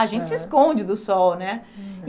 Aham. A gente se esconde do sol, né?